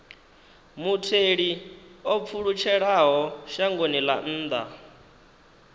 mutheli o pfulutshelaho shangoni ḽa nnḓa